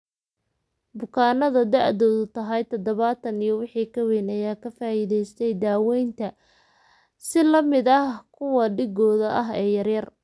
Bukaannada da'doodu tahay tadhawatan iyo wixii ka weyn ayaa ka faa'iideystey daawaynta adjuvant si la mid ah kuwa dhiggooda ah ee yaryar.